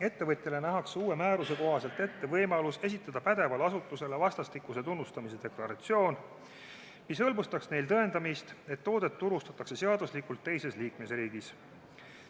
Ettevõtjale nähakse uue määruse kohaselt ette võimalus esitada pädevale asutusele vastastikuse tunnustamise deklaratsioon, mis hõlbustaks neil tõendamist, et toodet turustatakse seaduslikult teises liikmesriigis.